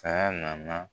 Saya nana